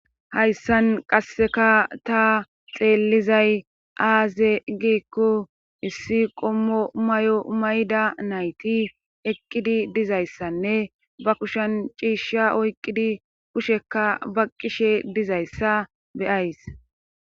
hayssan qasseka ta xeellizay aaze giikko issi qommo may7o mayda nayti eqqidi dizayssanne ba kushan ciishsha oyqqidi kusheka baqqishe dizayssa beyays